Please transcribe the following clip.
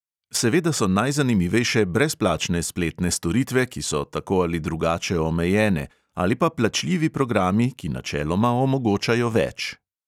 Seveda so najzanimivejše brezplačne spletne storitve, ki so tako ali drugače omejene, ali pa plačljivi programi, ki načeloma omogočajo več.